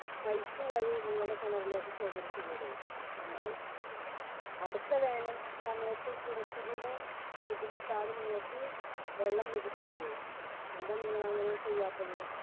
pipe വഴി നിങ്ങളെ കിണറിലേക്ക് ശേഖരിച്ചുകൂടെ? എന്നാൽ അടുത്ത വേനൽ സമയത്തു കുറച്ചുകൂടെ ബുദ്ധിമുട്ടാതെ നിങ്ങൾക്ക് വെള്ളം ലഭിക്കില്ലേ. എന്താ നിങ്ങൾ അങ്ങനെ ചെയ്യാത്തത്